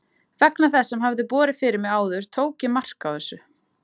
Vegna þess sem hafði borið fyrir mig áður tók ég mark á þessu.